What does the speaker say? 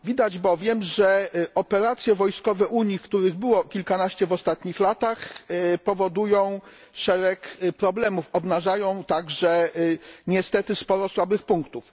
Widać bowiem, że operacje wojskowe Unii których było kilkanaście w ostatnich latach powodują szereg problemów, obnażają także niestety sporo słabych punktów.